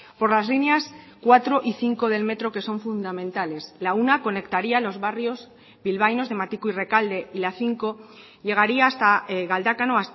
por las líneas cuatro y cinco del metro que son fundamentales la una conectaría los barrios bilbaínos de matiko y rekalde y la cinco llegaría hasta galdakao